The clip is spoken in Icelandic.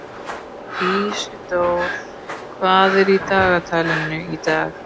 Ísidór, hvað er í dagatalinu í dag?